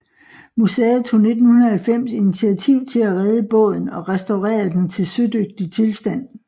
Museet tog 1990 initiativ til at redde båden og restaurerede den til sødygtig tilstand